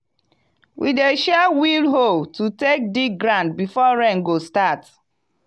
we dey share wheel hoe to take dig ground before rain go start.